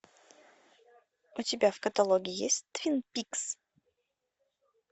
у тебя в каталоге есть твин пикс